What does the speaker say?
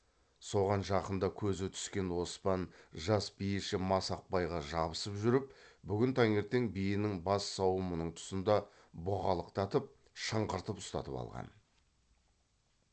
соған жақында көзі түскен оспан жас биеші масақбайға жабысып жүріп бүгін таңертең биенің бас сауымының тұсында бұғалықтатып шыңғыртып ұстатып алған